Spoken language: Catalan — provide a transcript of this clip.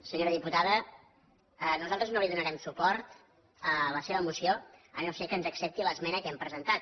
senyora diputada nosaltres no hi donarem suport a la seva moció si no és que ens accepta l’esmena que hem presentat